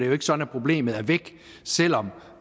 jo ikke sådan at problemet er væk selv om